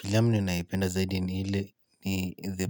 Filamu ninayoipenda zaidi ni ile ni the